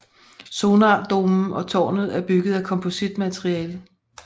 Sonardomen og tårnet er bygget af kompositmateriale